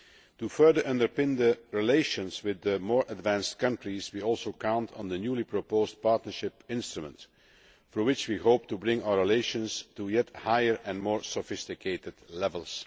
To further underpin the relations with the more advanced countries, we also count on the newly proposed Partnership Instrument, through which we hope to bring our relations to yet higher and more sophisticated levels.